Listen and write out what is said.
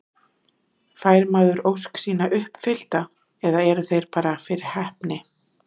Fær maður ósk sína uppfyllta eða eru þeir bara fyrir heppni?